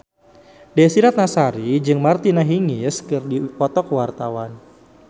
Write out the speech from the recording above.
Desy Ratnasari jeung Martina Hingis keur dipoto ku wartawan